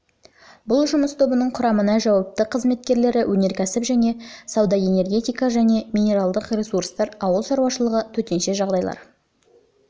бұл жұмыс тобының құрамына жауапты қызметкерлері өнеркәсіп және сауда энергетика және минералдық ресурстар ауыл шаруашылығы төтенше жағдайлар